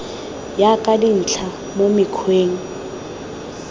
ya ka dintlha mo mokgweng